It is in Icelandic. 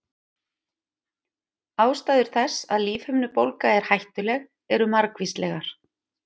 Ástæður þess að lífhimnubólga er hættuleg eru margvíslegar.